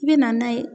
I bɛ na n'a ye